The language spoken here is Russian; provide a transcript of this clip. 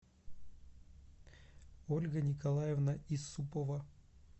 ольга николаевна исупова